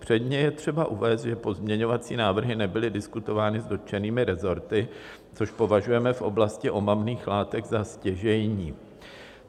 Předně je třeba uvést, že pozměňovací návrhy nebyly diskutovány s dotčenými resorty, což považujeme v oblasti omamných látek za stěžejní.